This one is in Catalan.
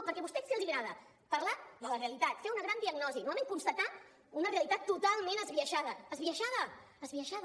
perquè a vostès què els agrada parlar de la realitat fer una gran diagnosi normalment constatar una realitat totalment esbiaixada esbiaixada